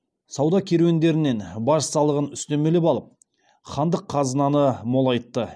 сауда керуендерінен баж салығын үстемелеп алып хандық қазынаны молайтты